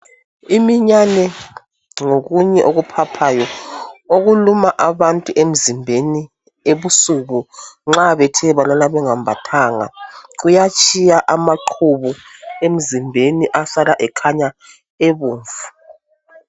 Iminyane ngokunye okuphaphayo okuluma abantu emzimbeni ebusuku nxa bethe balala bengambathanga kuyatshiya amaqhubu emzimbeni asala ekhanya ebomvu.